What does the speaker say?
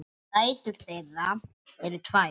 Dætur þeirra eru tvær.